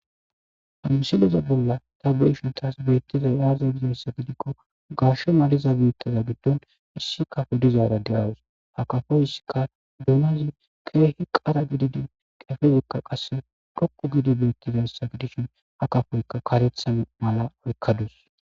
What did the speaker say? ha misileza bolla ta be7ishin taas beettizay aaza gizayssa gidikko garshe maliza biittaza giddon issi kafo dizaara de7adus ha kafoy issika duunazi keehi qara gididi qefezokka qasse dhoqqu gidi beettizayssa gidishin ha kafoyka karetha mala oykkadus.